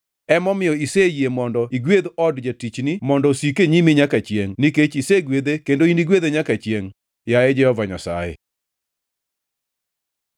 Emomiyo iseyie mondo igwedh od jatichni mondo osik e nyimi nyaka chiengʼ nikech isegwedhe kendo inigwedhe nyaka chiengʼ, yaye Jehova Nyasaye.”